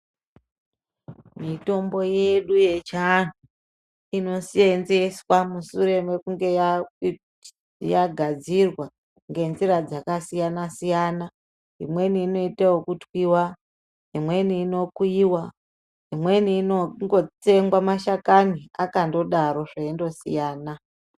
Mitombo yedu yechiantu inosenzeswa mushure mekunge yagadzirwa ngenzira dzakasiyana-siyana. Imweni inoitwa yekutwiva, imweni inokuiva, imweni inongotsengwa mashakani akandodaro zveindosiyana.